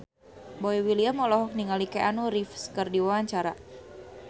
Boy William olohok ningali Keanu Reeves keur diwawancara